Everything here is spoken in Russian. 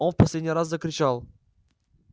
он в последний раз закричал